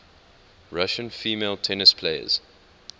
russian female tennis players